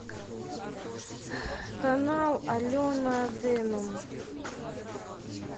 канал алена денум